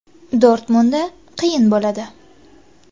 Dortmundda qiyin bo‘ladi.